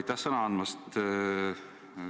Aitäh sõna andmast!